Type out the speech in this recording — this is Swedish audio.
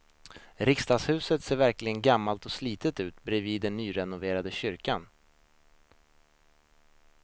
Riksdagshuset ser verkligen gammalt och slitet ut bredvid den nyrenoverade kyrkan.